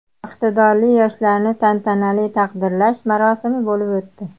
Iqtidorli yoshlarni tantanali taqdirlash marosimi bo‘lib o‘tdi.